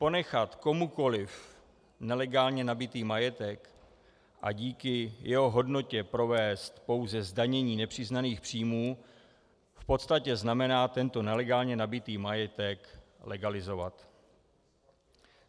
Ponechat komukoliv nelegálně nabytý majetek a díky jeho hodnotě provést pouze zdanění nepřiznaných příjmů v podstatě znamená tento nelegálně nabytý majetek legalizovat.